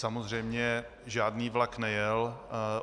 Samozřejmě žádný vlak nejel.